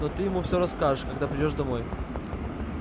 но ты ему все расскажешь когда придёшь домой